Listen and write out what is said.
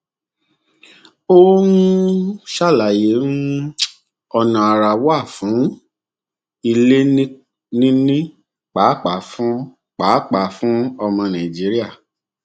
ó um ṣàlàyé um ọnà àrà wà fún um ilé níní pàápàá fún pàápàá fún ọmọ nàìjíríà